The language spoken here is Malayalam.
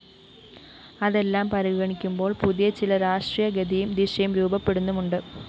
അതെല്ലാം പരിഗണിക്കുമ്പോള്‍ പുതിയ ചില രാഷ്ട്രീയ ഗതിയും ദിശയും രൂപപ്പെടുന്നുമുണ്ട്